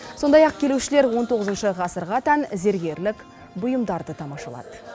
сондай ақ келушілер он тоғызыншы ғасырға тән зергерлік бұйымдарды тамашалады